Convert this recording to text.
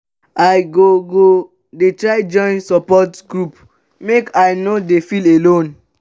i go go try join support group make i no dey feel alone.